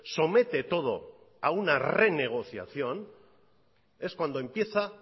somete todo a una renegociación es cuando empieza